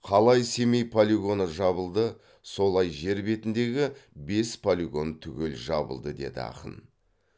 қалай семей полигоны жабылды солай жер бетіндегі бес полигон түгел жабылды деді ақын